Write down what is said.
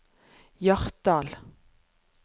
Hjartdal